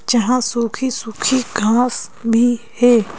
जहां सूखी सूखी घांस भी है।